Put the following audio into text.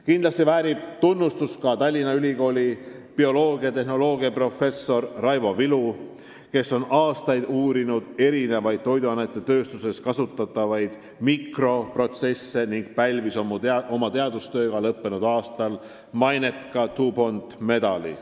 Kindlasti väärib tunnustust ka Tallinna Tehnikaülikooli biotehnoloogiaprofessor Raivo Vilu, kes on aastaid uurinud toiduainetööstuses kasutatavaid mikroobiprotsesse ning pälvis oma teadustööga lõppenud aastal maineka DuPonti medali.